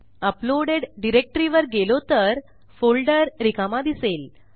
uploaded directory वर गेलो तर फोल्डर रिकामा दिसेल